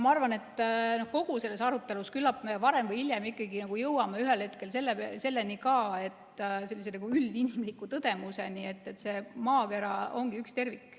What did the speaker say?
Ma arvan, et kogu selles arutelus küllap me varem või hiljem jõuame ühel hetkel ka sellise üldinimliku tõdemuseni, et maakera ongi üks tervik.